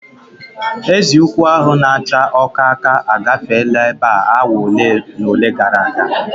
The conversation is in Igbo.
Ezi ukwu ahu na acha ọkaka agafeela ebe a awa ole na ole gara aga